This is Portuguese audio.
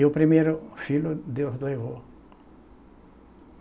E o primeiro filho, Deus levou.